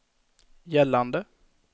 gällande